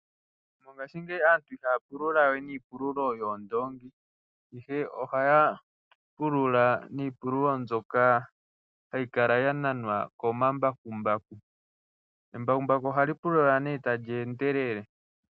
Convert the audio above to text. Mongashingeyi aantu ihaya pululawe niipululo yoondongi, ihe ohaya pulula niipululo mbyoka hayi kala yananwa komambakumbaku . Embakumbaku ohali pulula tali endelele.